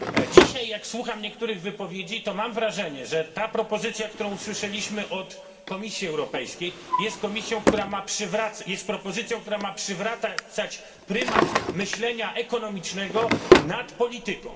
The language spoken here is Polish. Dzisiaj jak słucham niektórych wypowiedzi to mam wrażenie, że ta propozycja, którą usłyszeliśmy od Komisji Europejskiej, jest propozycją, która ma przywracać prymat myślenia ekonomicznego nad polityką.